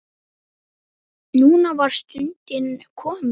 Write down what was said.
Núna var stundin komin.